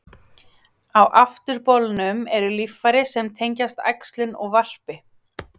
Á afturbolnum eru líffæri sem tengjast æxlun og varpi.